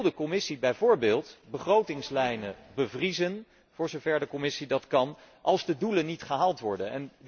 Wil de Commissie bijvoorbeeld begrotingslijnen bevriezen voor zover de Commissie dat kan als de doelen niet gehaald worden?